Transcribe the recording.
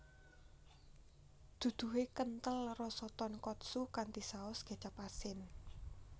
Duduhe kenthel rasa tonkotsu kanthi saus kecap asin